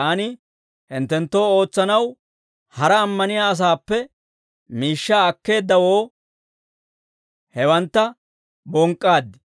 Taani hinttenttoo ootsanaw hara ammaniyaa asaappe miishshaa akkeeddawoo, hewantta bonk'k'aad.